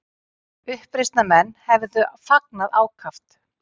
Uppreisnarmenn hefðu fagnað ákaft